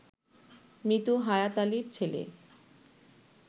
মৃত হায়াত আলীর ছেলে